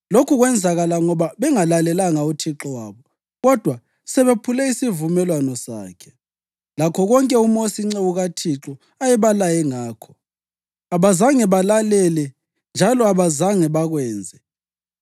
Lokhu kwenzakala ngoba bengalalelanga uThixo wabo, kodwa sebephule isivumelwano sakhe, lakho konke uMosi inceku kaThixo ayebalaye ngakho. Abazanga balalele njalo abazanga bakwenze.